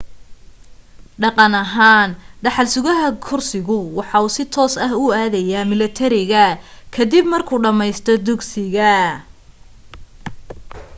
dhaqan ahaan dhaxal sugah kursigu waxa si toos ah u aadaya milatariga ka dib markuu dhammaysto dugsiga